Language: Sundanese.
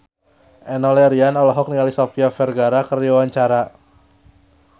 Enno Lerian olohok ningali Sofia Vergara keur diwawancara